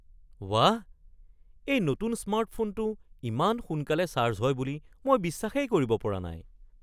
ৱাহ, এই নতুন স্মাৰ্টফোনটো ইমান সোনকালে চাৰ্জ হয় বুলি মই বিশ্বাসেই কৰিব পৰা নাই!